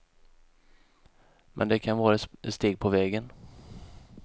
Men det kan vara ett steg på vägen.